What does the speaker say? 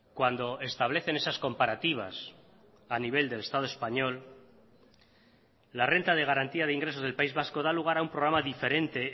cuando establecen esas comparativas a nivel del estado español la renta de garantía de ingresos del país vasco da lugar a un programa diferente